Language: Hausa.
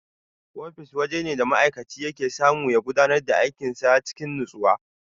Ofis wajene da ma'aikaci yake samu ya gudanar da aikin sa cikin natsuwa.